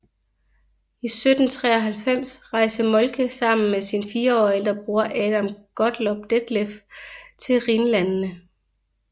I 1793 rejste Moltke sammen med sin fire år ældre bror Adam Gottlob Detlef til Rhinlandene